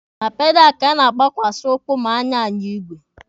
Na pedalụ ka a na-agbakwasa ụkwụ ma a na-anya igwe.